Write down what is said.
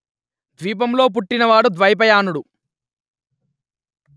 ద్వీపం లో పుట్టిన వాడు ద్వైపాయనుడు